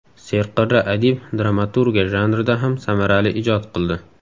Serqirra adib dramaturgiya janrida ham samarali ijod qildi.